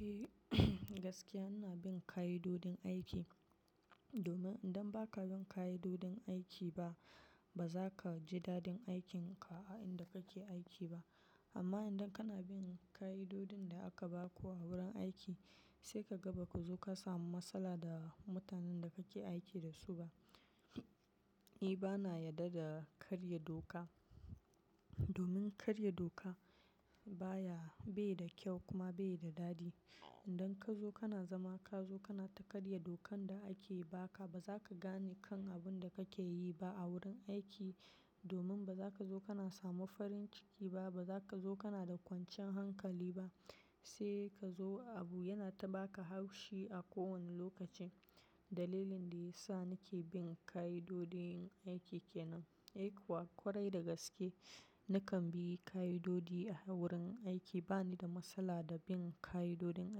Eh, gaskiya ina bin ka'idojin aiki. Domin idan ba ka bin ka'idojin aiki ba, ba za ka ji dadin aikinka a inda kake aiki ba. Amma idan kana bin ka'idojin da aka ba ku a wurin aiki, sai ka ga ba ku zo ka samu matsala da mutanen da kake aiki da su ba. Ni bana yarda da karya doka. Domin karya doka baya, bai da kyau kuma bai da dadi. Idan ka zo kana zama ka zo kana ta karya dokan da ake ba ka, ba za ka gane kan abin da kake yi ba a wurin aiki. Domin ba za ka zo kana samu farin ciki ba, ba za ka zo kana da kwancin hankali ba, sai ka zo abu yana ta baka haushi a kowane lokaci. Dalilin da ya sa nake bin ka'idojin aiki ke nan. Eh kuwa, kwarai da gaske, nakan bi ka'idoji a wurin aiki. Bani da matsala da bin ka'idojin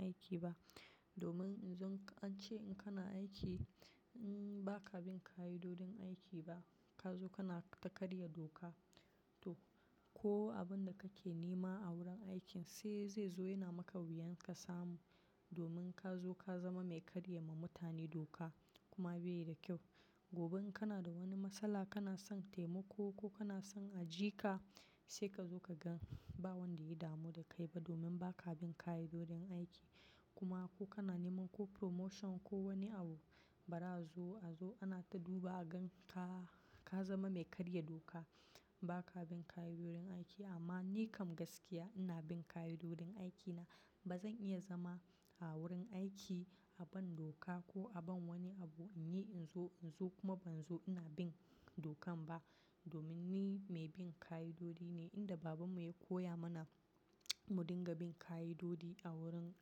aiki ba. Domin in zo an ce in kana aiki, mm ba ka bin ka'idojin aiki ba, ka zo kana ta karya doka. To, ko abin da kake nema a wurin aikin sai zai zo yana maka wuyan ka samu. Domin ka zo ka zama mai karya ma mutane doka kuma bai da kyau. Gobe in kana da wani matsala kana son taimako ko kana son a ji ka, sai ka zo ka gan ba wanda ya damu da kai ba domin ba ka bin ka'idojin aiki. Kuma ko kana neman ko promotion ko wani abu, bara a zo, a zo ana ta duba a gan ka, ka zama mai karya doka. Ba ka bin ka'idojin aiki amma ni kam gaskiya ina bin ka'idojin aikina. Ba zan iya zama a wurin aiki a ban doka ko a ban wani abu in yi in zo, in zo kuma ban zo ina bin dokan ba. Domin ni mai bin ka'idoji ne inda babanmu ya koya mana mu dinga bin ka'idoji a wurin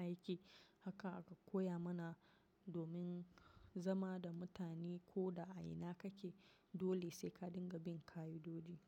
aiki. Haka aka koya mana domin zama da mutane ko da a ina kake, dole sai ka dinga bin ka'idoji.